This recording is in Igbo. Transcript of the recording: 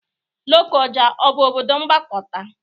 Lokoja ọ bụ obodo mgbakọta?